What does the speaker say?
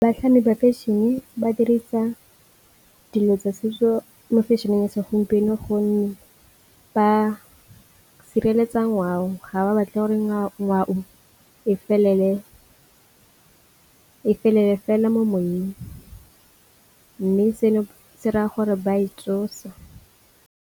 Batlhami ba fashion-e ba dirisa dilo tsa setso mo fashion-eng e segompieno gonne ba sireletsa ngwao ga ba batle goreng a ngwao e felele fela mo moyeng, mme seno se raya gore ba e tsosa.